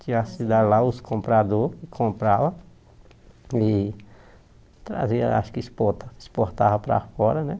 Tinha a cidade lá, os compradores compravam e traziam, acho que expor exportavam para fora, né?